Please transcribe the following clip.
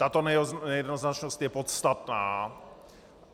Tato nejednoznačnost je podstatná.